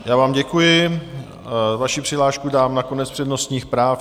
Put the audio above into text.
Já vám děkuji, vaši přihlášku dám na konec přednostních práv.